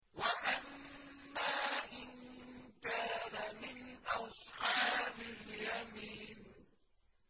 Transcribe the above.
وَأَمَّا إِن كَانَ مِنْ أَصْحَابِ الْيَمِينِ